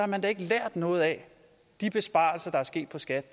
man da ikke lært noget af de besparelser der er sket hos skat